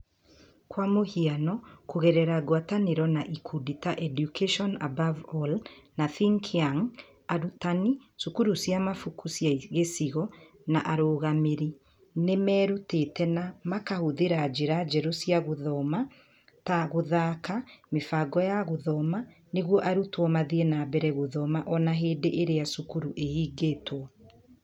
Kwa mũhiano, kũgerera ngwatanĩro na ikundi ta Education Above All na Think Young, arutani, cukuru cia mabuku cia gĩcigo, na arũngamĩri nĩ merutĩte na makahũthĩra njĩra njerũ cia gũthoma ta gũthaaka ,mĩbango ya gũthoma nĩguo arutwo mathiĩ na mbere gũthoma o na hĩndĩ ĩrĩa cukuru ihingĩtwo.